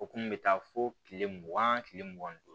O kun bɛ taa fo kile mugan tile mugan ni duuru